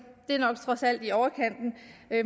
nok trods alt er i overkanten